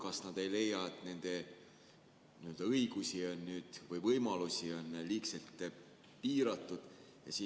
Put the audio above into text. Kas nad ei leia, et nende õigusi või võimalusi on liigselt piiratud?